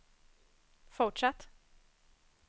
fortsatt